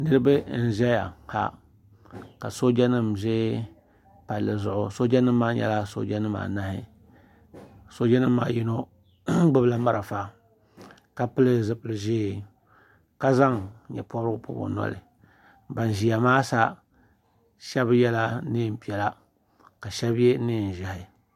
niriba n zaya ka sojanim ʒɛ pali zuɣ' ka sojanim ʒɛ sojanim maanahi sojanim maa yino gbabila mariƒɔ ka pɛli zupɛli ʒiɛ ka zaŋ gbanporigu pobi o noli banƶɛya maa sa shɛbi yɛla nɛpiɛla ka shɛb mi